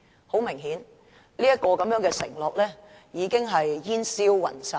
"很明顯，這個承諾已經煙消雲散。